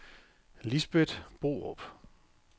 Lisbeth Borup